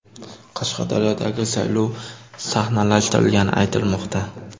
Qashqadaryodagi saylov sahnalashtirilgani aytilmoqda.